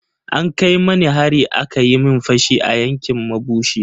An kai mani hari aka yi min fashi a yankin mabushi.